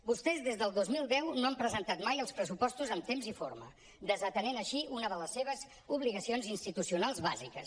vostès des del dos mil deu no han presentat mai els pressupostos en temps i forma desatenent així una de les seves obligacions institucionals bàsiques